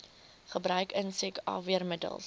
gebruik insek afweermiddels